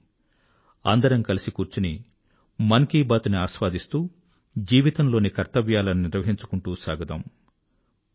రండి అందరం కలిసి కూర్చొని మన్ కీ బాత్ ని ఆస్వాదిస్తూ జీవితంలోని కర్తవ్యాలను నిర్వహించుకుంటూ సాగుదాం